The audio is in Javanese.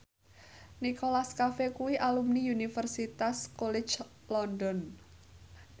Nicholas Cafe kuwi alumni Universitas College London